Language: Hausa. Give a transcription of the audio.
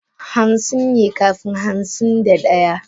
Hansin ne kafin hansin da daya.